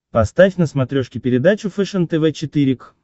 поставь на смотрешке передачу фэшен тв четыре к